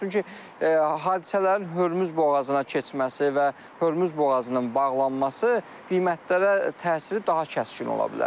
Çünki hadisələrin Hörmüz boğazına keçməsi və Hörmüz boğazının bağlanması qiymətlərə təsiri daha kəskin ola bilər.